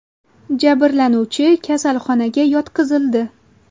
Jabrlanuvchi kasalxonaga yotqizildi.